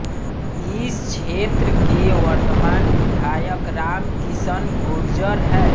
इस क्षेत्र के वर्तमान विधायक राम किशन गुर्जर हैं